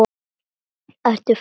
Ertu frá þér!?